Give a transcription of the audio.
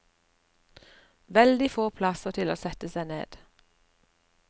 Veldig få plasser til å sette seg ned.